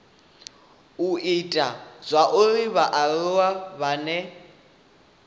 u ita zwauri vhaaluwa vhane